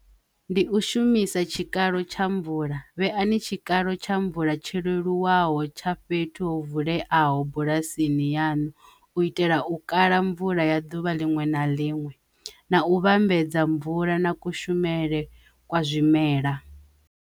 Ndi u shumisa tshikalo tsha mvula vhe ani tshikalo tsha mvula tsho lelwaho tsha fhethu ho vuleyaho bulasini yanu u itela u kala mvula ya duvha liṅwe na liṅwe na u vhambedza mvula na kushumele kwa zwimela.